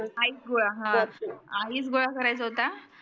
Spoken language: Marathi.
ice गोळा हा ice गोळा करायचा होता